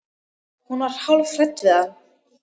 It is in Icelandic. Hún var hálf hrædd við hann.